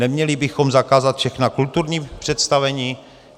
Neměli bychom zakázat všechna kulturní představení?